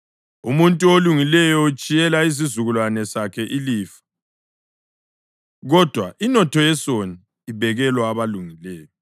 Umuntu olungileyo utshiyela izizukulwane sakhe ilifa, kodwa inotho yesoni ibekelwa abalungileyo.